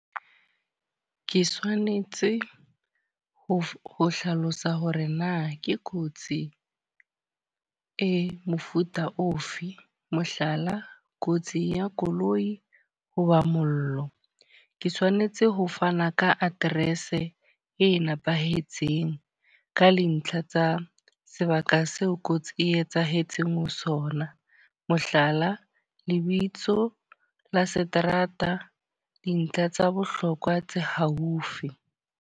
Ke tshwanetse ho ho hlalosa hore na ke kotsi e mofuta ofe. Mohlala, kotsi ya koloi ho ba mollo. Ke tshwanetse ho fana ka address e nepahetseng ka dintlha tsa sebaka seo kotsi e etsahetseng ho sona. Mohlala, lebitso la seterata, dintlha tsa bohlokwa tse haufi.